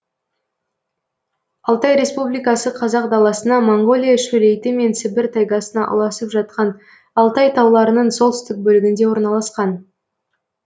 алтай республикасы қазақ даласына моңғолия шөлейті мен сібір тайгасына ұласып жатқан алтай тауларының солтүстік бөлігінде орналасқан